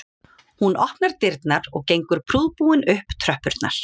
Hún opnar dyrnar og gengur prúðbúin upp tröppurnar